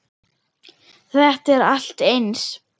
Þetta er allt eins!